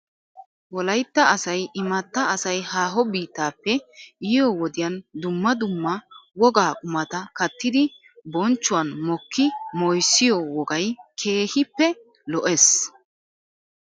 Wolaytta asay imatta asay haaho biittappe yiyoo wodiyan dumma dumma wogaa qumata kattidi bonchchuwan mokki moyssiyoo wogay keehippe lo'es .